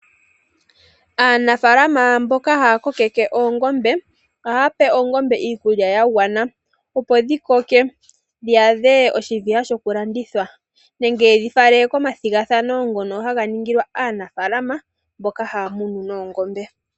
Aanafaalama yoongombe oha ya pe oongombe iikulya ya gwana. Opo dhi koke dho dhi adhe oshiviha shokulandithwa nenge, yedhi fale komathigathanano gaanafaalama mboka ha ya munu oongombe.